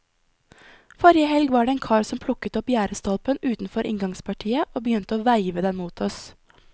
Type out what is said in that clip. Forrige helg var det en kar som plukket opp gjerdestolpen utenfor inngangspartiet, og begynte å veive den mot oss.